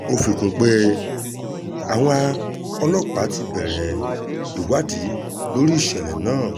ó fi kún un pé àwọn ọlọ́pàá ti bẹ̀rẹ̀ ìwádìí lórí ìṣẹ̀lẹ̀ náà